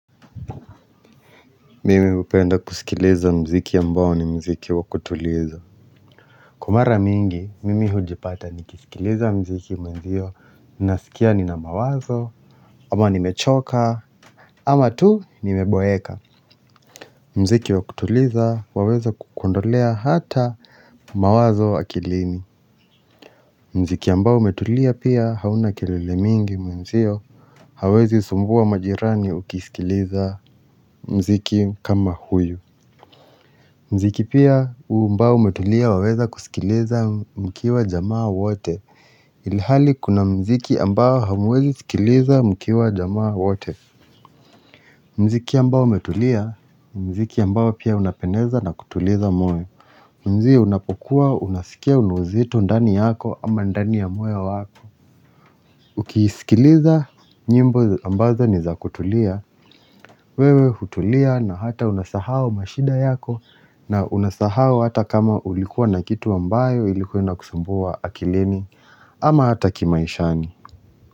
Mimi hupenda kusikiliza muziki ambao ni muziki wa kutuliza. Kwa mara mingi, mimi hujipata nikisikiliza muziki mwenzio. Nasikia nina mawazo, ama ni mechoka, ama tu nimeboeka muziki wa kutuliza waweza kukuondolea hata mawazo akilini muziki ambao umetulia pia hauna kelele mingi mwenzio hauwezi sumbuwa majirani ukisikiliza muziki kama huyu muziki pia umbao umetulia waweza kusikiliza mkiwa jamaa wote Ilihali kuna muziki ambao hamwezi sikiliza mkiwa jamaa wote. Muziki ambao umetulia, ni muziki ambao pia unapendeza na kutuliza moyo. Mwenzio unapokua unasikia una uzito ndani yako ama ndani ya moyo wako ukiisikiliza nyimbo ambazo ni za kutulia wewe hutulia na hata unasahau mashida yako na unasahau hata kama ulikuwa na kitu ambayo ilikuwa inakusambua akilini ama hata kimaishani.